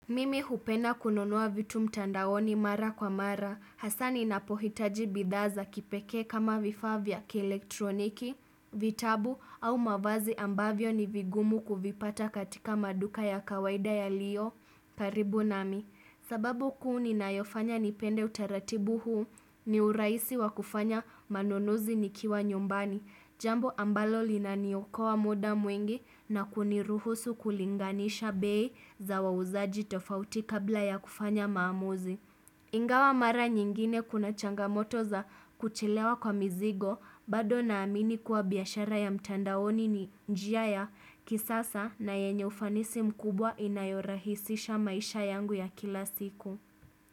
Mimi hupenda kununua vitu mtandaoni mara kwa mara, hasaa ninapohitaji bidhaa za kipekee kama vifaa vya kielektroniki, vitabu au mavazi ambavyo ni vigumu kuvipata katika maduka ya kawaida yaliyo karibu nami. Sababu kuu ninayofanya nipende utaratibu huu ni urahisi wa kufanya manunuzi nikiwa nyumbani, jambo ambalo linaniokoa muda mwingi na kuniruhusu kulinganisha bei za wauzaji tofauti kabla ya kufanya maamuzi. Ingawa mara nyingine kuna changamoto za kuchelewa kwa mizigo bado naamini kuwa biashara ya mtandaoni ni njia ya kisasa na yenye ufanisi mkubwa inayorahisisha maisha yangu ya kila siku.